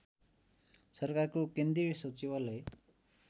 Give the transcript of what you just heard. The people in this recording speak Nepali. सरकारको केन्द्रीय सचिवालय